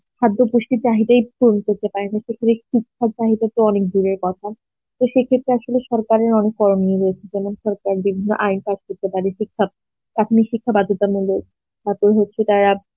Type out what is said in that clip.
খাদ্য পুষ্টির চাহিদায় পূরণ করতে পারেনা তো শিক্ষার চাহিদা তো অনেক দূরের কথা তো সে ক্ষেত্রে আসলে সরকারের অনেক করণীয় রয়েছে যেমন সরকার বিভিন্ন আইন pass করতে পারে যেমন শিক্ষা প্রাথমিক শিক্ষা বাধ্যতামূলক তারপর হচ্ছে তারা